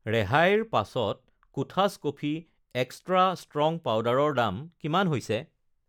ৰেহাইৰ পাছত কোঠাছ কফি এক্সট্ৰা ষ্ট্ৰং পাউদাৰৰ দাম কিমান হৈছে?